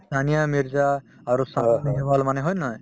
ছানিয়া মিৰ্জা আৰু ছানিয়া নেহৱাল মানে হয় নে নহয়